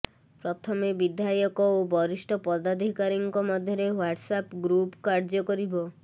ପ୍ରଥମେ ବିଧା଼ୟକ ଓ ବରିଷ୍ଠ ପଦାଧିକାରୀଙ୍କ ମଧ୍ୟରେ ହ୍ୱାଟସଆପ୍ ଗ୍ରୁପ୍ କାର୍ଯ୍ୟ କରିବ